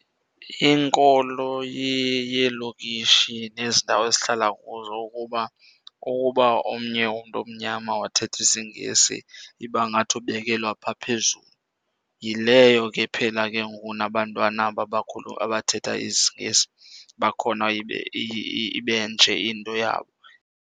Inkolo yeelokishi nezi ndawo esihlala kuzo ukuba, kukuba omnye umntu omnyama wathetha isiNgesi iba ngathi ubekelwa phaa phezulu. Yileyo ke ephela ke ngoku nabantwana aba abathetha isiNgesi bakhona ibe nje into yabo.